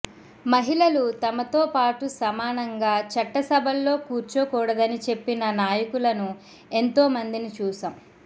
మహిళలు తమతో పాటు సమానంగా చట్టసభల్లో కూర్చోకూడదని చెప్పిన నాయకులను ఎంతో మందిని చూశాం